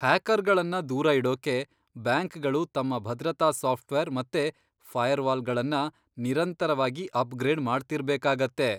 ಹ್ಯಾಕರ್ಗಳನ್ನ ದೂರ ಇಡೋಕೆ ಬ್ಯಾಂಕ್ಗಳು ತಮ್ಮ ಭದ್ರತಾ ಸಾಫ್ಟ್ವೇರ್ ಮತ್ತೆ ಫೈರ್ವಾಲ್ಗಳನ್ನ ನಿರಂತರವಾಗಿ ಅಪ್ಗ್ರೇಡ್ ಮಾಡ್ತಿರ್ಬೇಕಾಗತ್ತೆ.